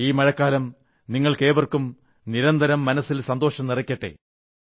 ഈ മഴക്കാലം നിങ്ങൾക്കേവർക്കും നിരന്തരം മനസ്സിൽ സന്തോഷം നിറയ്ക്കട്ടെ